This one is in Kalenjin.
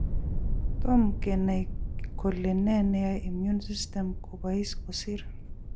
Tom kenai kole ne neyai immune system kobais kosir